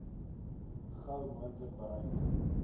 gou moontlik bereik